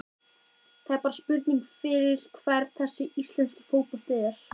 Það er bara spurning fyrir hvern þessi íslenski fótbolti er?